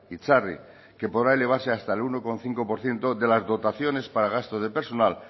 itzarri que podrá llevarse hasta el uno coma cinco por ciento de las dotaciones para gasto de personal